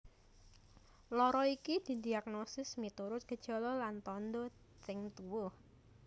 Lara iki didiagnosis miturut gejala lan tandha sing tuwuh